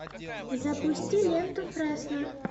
запусти ленту фресно